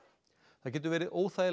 það getur verið óþægilegt